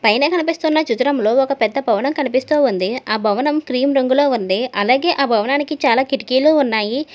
పైన కనిపిస్తున్న చిత్రంలో ఒక పెద్ద భవనం కనిపిస్తోంది ఆ భవనం క్రీం రంగులో ఉంది అలాగే ఆ భవనానికి చాలా కిటికీలు ఉన్నాయి.